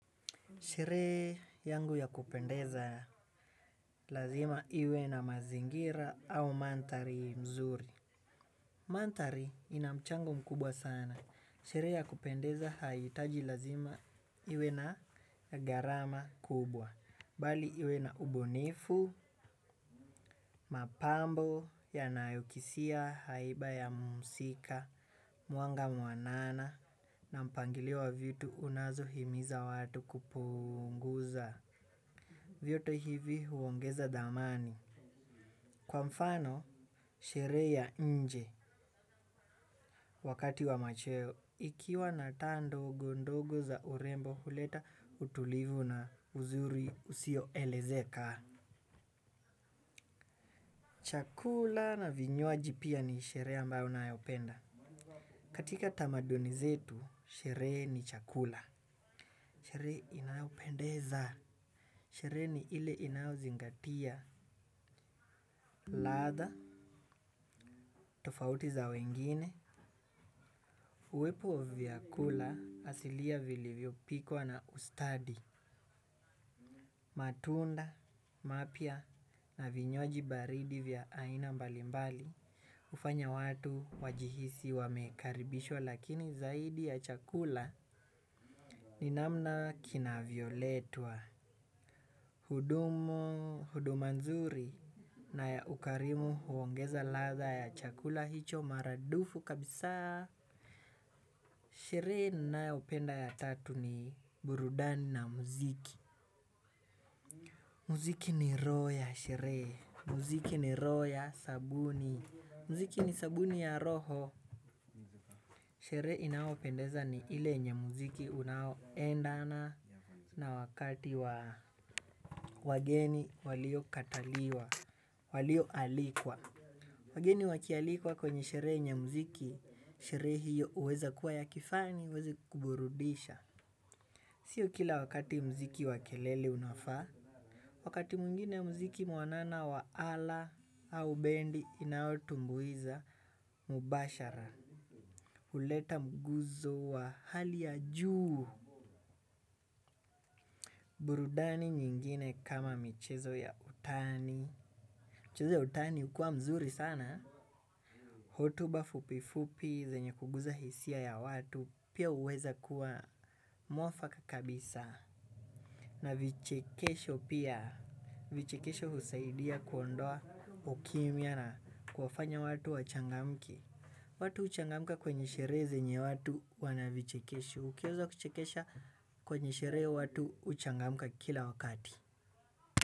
Sherehe yangu ya kupendeza lazima iwe na mazingira au mandhari nzuri. Mandhari ina mchango mkubwa sana. Sherehe ya kupendeza haitaji lazima iwe na gharama kubwa. Bali iwe na ubunifu, mapambo, yanayokisia, haiba ya muhusika, mwanga muanana na mpangilio wa vitu unazo himiza watu kupunguza. Vyote hivi huongeza dhamani. Kwa mfano, shere ya nje wakati wa machewo. Ikiwa na taa ndogo ndogo za urembo huleta utulivu na uzuri usio elezeka. Chakula na vinywaji pia ni sherehe ambayo nayopenda. Katika tamaduni zetu, sherehe ni chakula. Sherehe inayopendeza. Sherehe ni ile inayozingatia. Ladha. Tofauti za wengine. Uwepo wa vya kula asilia vilivyo pikwa na ustadi, matunda, mapya na vinywaji baridi vya aina mbalimbali. Ufanya watu wajihisi wamekaribishwa lakini zaidi ya chakula ni namna kin vyo letwa. Hudumu huduma nzuri na ya ukarimu huongeza ladha ya chakula hicho maradufu kabisa. Sherehe ninayopenda ya tatu ni burudani na muziki. Muziki ni roho ya sherehe. Muziki ni roho ya sabuni. Muziki ni sabuni ya roho. Sheree inayopendeza ni ile nye muziki unao endana na wakati wageni walio kataliwa walio alikwa wageni wakialikwa kwenye sheree nye muziki sherehe hiyo huweza kuwa ya kifani huweza kuburudisha sio kila wakati mziki wa kelele unafaa. Wakati mwingine mziki muanana wa ala au bendi inaotu mbuiza. Mubashara huleta mguso wa hali ya juu. Burudani nyingine kama michezo ya utani michezo ya utani ukua mzuri sana. Hotuba fupifupi zenye kugusa hisia ya watu pia huweza kuwa muafaka kabisa na vichekesho pia vichekesho husaidia kuondoa ukimya na kuwafanya watu wachangamke. Watu huchangamka kwenye sherehe zenye watu wana vichekesho. Ukianza kuchekesha kwenye sherehe watu huchangamka kila wakati.